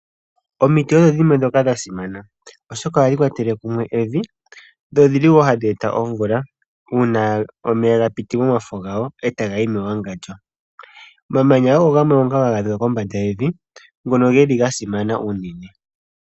Omiti odho dhimwe ndhoka sha simana oshoka ohadhi kwatele kumwe evi, dho odhi li wo hadhi eta omvula uuna omeya ga piti momafo gawo e ta ga yi mewangandjo. Omamanya ogo gamwe ngoka ha ga adhika kombanda yevi ngono ge li ga simana unene.